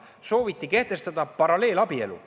Sooviti kehtestada paralleelabielu.